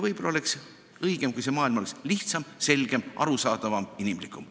Võib-olla oleks õigem, kui see maailm oleks lihtsam, selgem, arusaadavam ja inimlikum.